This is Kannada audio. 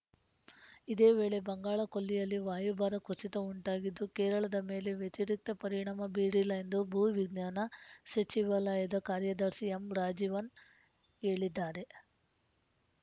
ಇದೇ ವೇಳೆ ಬಂಗಾಳಕೊಲ್ಲಿಯಲ್ಲಿ ವಾಯುಭಾರ ಕುಸಿತ ಉಂಟಾಗಿದ್ದು ಕೇರಳದ ಮೇಲೆ ವ್ಯತಿರಿಕ್ತ ಪರಿಣಾಮ ಬೀರಿಲ್ಲ ಎಂದು ಭೂವಿಜ್ಞಾನ ಸಚಿವಾಲಯದ ಕಾರ್ಯದರ್ಶಿ ಎಂ ರಾಜೀವನ್‌ ಹೇಳಿದ್ದಾರೆ